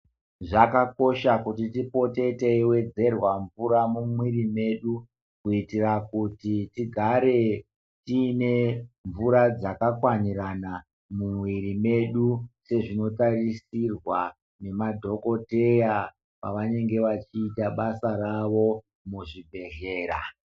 Zvakakosha kuti tipote teiwedzerwe mvura mumwiri mwedu kuitira kuti tigare tiine mvura dzakakwanirana muwiri medu sezvinotarisirwa nemadhokodheya pavanenge vachiita basa ravo muzvibhedhlera.